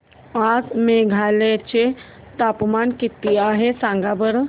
आज मेघालय चे तापमान किती आहे सांगा बरं